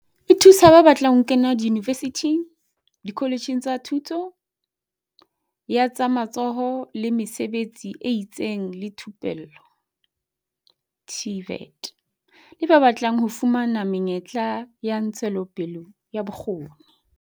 E thusa ba batlang ho kena diyunivesithing, dikoletjheng tsa Thuto ya tsa Matsoho le Mesebetsi e itseng le Thupello TVET le ba batlang ho fumana menyetla ya ntshetsopele ya bokgoni.